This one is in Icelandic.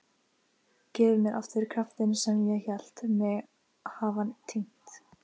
Gefið mér aftur kraftinn sem ég hélt mig hafa týnt.